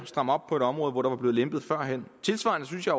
stramme op på et område hvor der var blevet lempet førhen tilsvarende synes jeg